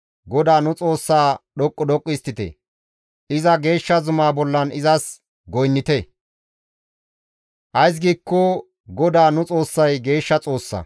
GODAA nu Xoossaa dhoqqu dhoqqu histtite; iza geeshsha zuma bollan izas goynnite; ays giikko GODAA nu Xoossay geeshsha Xoossa.